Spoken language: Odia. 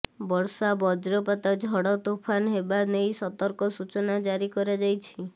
ବର୍ଷା ବଜ୍ରପାତ ଝଡ଼ତୋଫାନ ହେବା ନେଇ ସତର୍କ ସୂଚନା ଜାରି କରାଯାଇଛି